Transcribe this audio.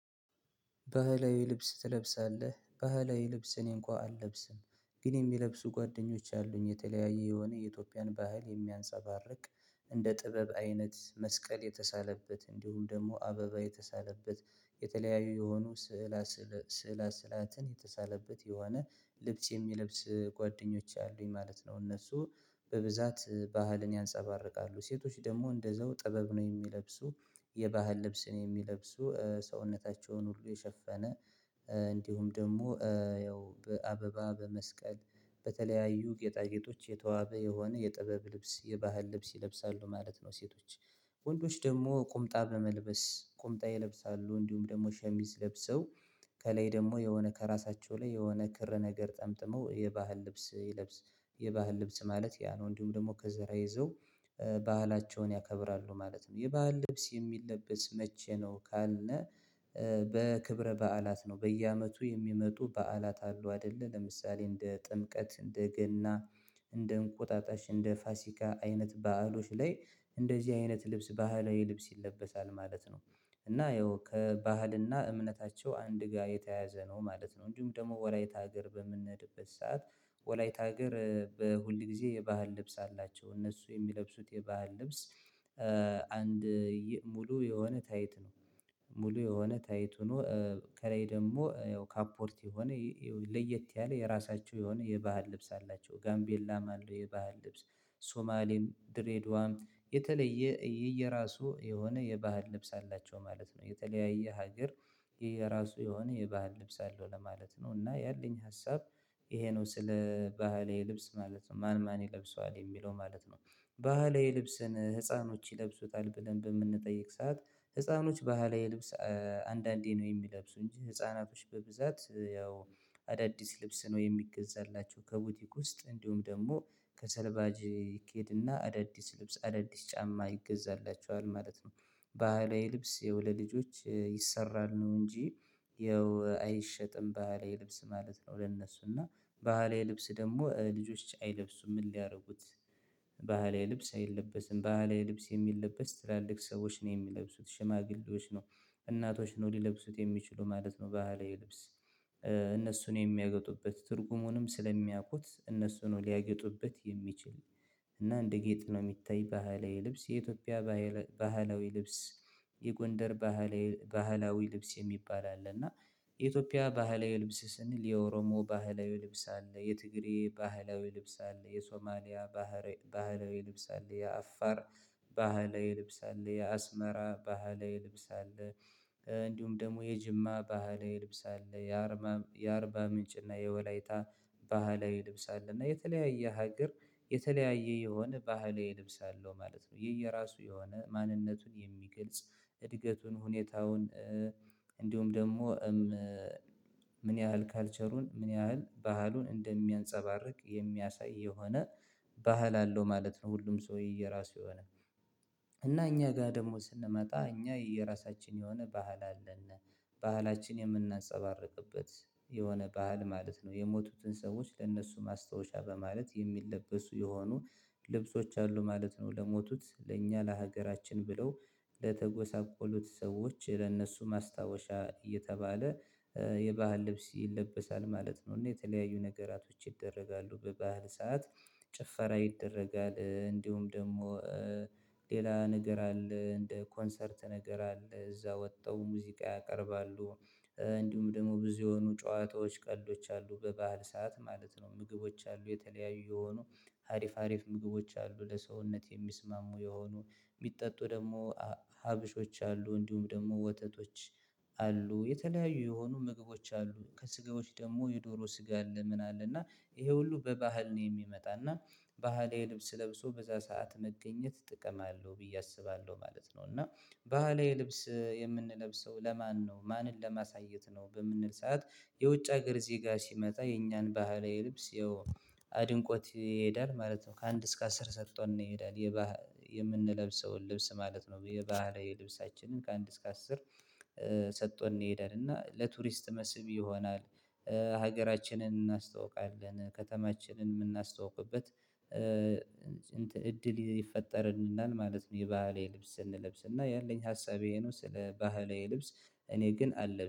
ባህላዊ ልብስ ትለብሳለህ ባህላዊ ልብስ እኔንኳን አልለብስም ግን የሚለብሱ ጓደኞች አሉኝ የተለያየ የሆነ የኢትዮጵያን ባህል የሚያንሳባርቅ እንደ ጥበብ አይነት መስቀል የተሳለበት እንዲሁም ደግሞ አበባ የተሳለበት የተለያዩ የሆኑ ስዕል ስዕል ስዕል አስላትን የተሳለበት የሆነ ልብስ የሚለብስ ጓደኞች አሉኝ ማለት ነው እነሱ በብዛት ባህልን ያንፀባርቃሉ ሴቶች ደግሞ እንደዛው ጥበብ ነው የሚለብሱ የባህል ልብስን የሚለብሱ ሰውነታቸውን ሁሉ የሸፈነ እንዲሁም ደግሞ ያው በአበባ በመስቀል በተለያዩ ጌጣጌጦች የተዋበ የሆነ የጥበብ ልብስ የባህል ልብስ ይለብሳሉ ማለት ነው። ሴቶች ወንዶች ደግሞ ቁምጣ በመልበስ ቁምጣ ይለብሳሉ እንዲሁም ደግሞ ሸሚዝ ለብሰው ከላይ ደግሞ የሆነ ከራሳቸው ላይ የሆነ ክር ነገር ጠምጥመው የባህል ልብስ ይለብሳሉ። የባህል ልብስ ማለት ያ ነው እንዲሁም ደግሞ ከዘራ ይዘው ባህላቸውን ያከብራሉ ማለት ነው። የበአል ልብስ የሚለበስ መቼ ነው ካልነ? በክብረ በዓላት ነው በየአመቱ የሚመጡ በዓላት አሉ አይደለ ለምሳሌ እንደ ጥምቀት እንደ ገና እንደ እንቆጣጣሽ እንደ ፋሲካ አይነት በዓሎች ላይ እንደዚህ አይነት ልብስ ባህላዊ ልብስ ይለበሳል ማለት ነው። እና ያው ከባህልና እምነታቸው አንድ ጋር የተያዘ ነው ማለት ነው። እንዲሁም ደግሞ ወላይታ ሀገር በምንነድበት ሰዓት ወላይት ሀገር በሁል ጊዜ የባህል ልብስ አላቸው እነሱ የሚለብሱት የባህል ልብስ። አንድ ሙሉ የሆነ ታይት ነው። ሙሉ የሆነ ታይት ሆኖ ከላይ ደግሞ ያው ካፖርት የሆነ ለየት ያለ የራሳቸው የሆነ የባህል ልብስ አላቸው ጋምቤላም አለው የባህል ልብስ ሶማሌም ድሬዳዋም የተለየ የየራሱ የሆነ የባህል ልብስ አላቸው ማለት ነው። የተለያየ ሀገር የራሱ የሆነ የባህል ልብስ አለው ለማለት ነው። እና ያለኝ ሀሳብ። ይሄ ነው ስለ ባህላዊ ልብስ ማለት ነው ማን ማን ይለብሰዋል የሚለው ማለት ነው። ባህላዊ ልብስን ህፃኖች ይለብሱታል ብለን በምንጠይቅ ሰዓት ህፃኖች ባህላዊ የልብስ አንዳንዴ ነው የሚለብሱ እንጂ ህፃናቶች በብዛት ያው አዳዲስ ልብስ ነው የሚገዛላቸው ከቦቲክ ውስጥ እንዲሁም ደግሞ ከሰልባጅ ይኬድና አዳዲስ ልብስ አዳዲስ ጫማ ይገዛላቸዋል ማለት ነው። ባህላዊ ልብስ ለልጆች ይሰራል ነው እንጂ። ያው አይሸጥም ባህላዊ ልብስ ማለት ነው። ለነሱ እና ባህሌ ልብስ ደግሞ ልጆች አይለብሱም ምን ሊያደርጉት ባህላዊ ልብስ አይለብስም ባህላዊ ልብስ የሚለበስ ትላልቅ ሰዎች ነው የሚለብሱት ሽማግሌዎች ነው። እናቶች ነው ሊለብሱት የሚችሉ ማለት ነው ባህላዊ ልብስ። እነሱን የሚያገጡበት ትርጉሙንም ስለሚያውቁት እነሱ ነው ሊያገጡበት የሚችል። እና እንደ ጌጥ ነው የሚታይ ባህላዊ ልብስ የኢትዮጵያ ባህላዊ ልብስ። የጎንደር ባህላዊ ልብስ የሚባል አለ። እና የኢትዮጵያ ባህላዊ ልብስ ስንል የኦሮሞ ባህላዊ ልብስ አለ የትግሬ ባህላዊ ልብስ አለ የሶማሊያ ባህላዊ ልብስ አለ የአፋር ባህላዊ ልብስ አለ የአስመራ ባህላዊ ልብስ አለ። እንዲሁም ደግሞ የጅማ ባህላዊ ልብስ አለ። የአርባ ምንጭ እና የወላይታ ባህላዊ ልብስ አለ እና የተለያየ ሀገር የተለያየ የሆነ ባህላዊ ልብስ አለው ማለት ነው። የየራሱ የሆነ ማንነቱን የሚግልጽ እድገቱን ሁኔታውን እንዲሁም ደግሞ ምን ያህል ካልቸሩን ምን ያህል ባህሉን እንደሚያንፀባርቅ የሚያሳይ የሆነ ባህል አለው ማለት ነው። ሁሉም ሰው የየራሱ የሆነ እና እኛ ጋር ደግሞ ስንመጣ እኛ የራሳችን የሆነ ባህል አለን። ባህላችን የምናንፀባርቅበት የሆነ ባህል ማለት ነው የሞቱትን ሰዎች ለእነሱ ማስታወሻ በማለት የሚለበሱ የሆኑ ልብሶች አሉ ማለት ነው። ለሞቱት ለእኛ ለሀገራችን ብለው ለተጎሳቆሉት ሰዎች ለእነሱ ማስታወሻ እየተባለ የባህል ልብስ ይለበሳል ማለት ነው። እና የተለያዩ ነገራቶች ይደረጋሉ በባህል ሰዓት። ጭፈራ ይደረጋል እንዲሁም ደግሞ ሌላ ነገር አለ እንደ ኮንሰርት ነገር አለ እዛ ወጠው ሙዚቃ ያቀርባሉ። እንዲሁም ደግሞ ብዙ የሆኑ ጨዋታዎች ቀልዶች አሉ በበዓል ሰዓት ማለት ነው። ምግቦች አሉ የተለያዩ የሆኑ ሀሪፍ ሀሪፍ ምግቦች አሉ። ለሰውነት የሚስማሙ የሆኑ የሚጠጡ ደግሞ ሀበሾች አሉ እንዲሁም ደግሞ ወተቶች አሉ የተለያዩ የሆኑ ምግቦች አሉ። ከስጋዎች ደግሞ የዶሮ ስጋ አለ ምን አለ እና? ይሄ ሁሉ በባህል ነው የሚመጣ እና ባህላዊ ልብስ ለብሶ በዛ ሰዓት መገኘት ጥቅም አለው ብዬ አስባለሁ ማለት ነው። እና ባህላዊ ልብስ የምንለብሰው ለማነው ማንን ለማሳየት ነው በምንል ሰዓት? የውጭ ሀገር ዜጋ ሲመጣ የእኛን ባህላዊ ልብስ ይኸው አድንቆት ይሄዳል ማለት ነው። ከአንድ እስከ አስር ሰጥቶ እንሄዳለን። የምንለብሰውን ልብስ ማለት ነው የባህላዊ ልብሳችንን ከአንድ እስከ አስር ባህሌ ልብስ አይለበስም ባህሌ ልብስ የሚለበስ ትላልቅ ሰዎችን የሚለብሱት ሽማግሌዎች ነው እናቶች ነው ሊለብሱት የሚችሉ ማለት ነው። በሃላዬ ልብስ ሀገራችንን እናስተውቃለን ከተማችንን የምናስተውቅበት እንትን እድል ይፈጠርናል ማለት ነው። የባህላዊ ልብስ እንለብስና ያለኝ ሀሳብ ይሄ ነው ስለ ባህላዊ ልብስ። እኔ ግን አለ